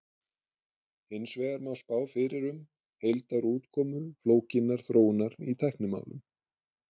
Hins vegar má spá fyrir um heildarútkomu flókinnar þróunar í tæknimálum.